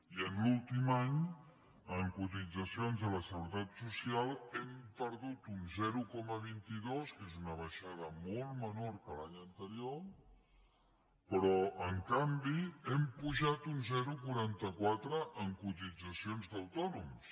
i en l’últim any en cotitzacions a la seguretat social hem perdut un zero coma vint dos que és una baixada molt menor que l’any anterior però en canvi hem pujat un zero coma quaranta quatre en cotitzacions d’autònoms